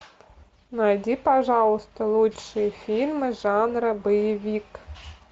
найди пожалуйста лучшие фильмы жанра боевик